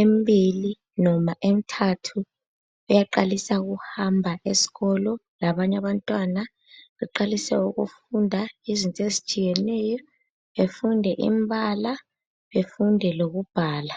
embili noma emithathu uyaqalisa ukuhamba esikolo labanye abantwana, eqalise ukufunda izinto ezitshiyeneyo, efunde imbala efunde lokubhala.